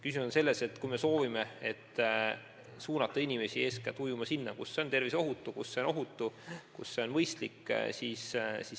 Küsimus on selles, et me soovime suunata inimesi ujuma minema eeskätt sinna, kus see on ohutu, kus see on mõistlik.